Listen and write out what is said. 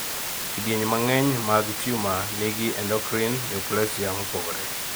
kidieny mang'eny mag tumor nigi endocrine neoplasia mopogore